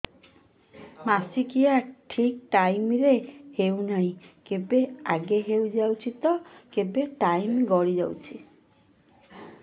ମାସିକିଆ ଠିକ ଟାଇମ ରେ ହେଉନାହଁ କେବେ ଆଗେ ହେଇଯାଉଛି ତ କେବେ ଟାଇମ ଗଡି ଯାଉଛି